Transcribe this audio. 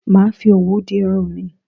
Màá fi òwú di irun mi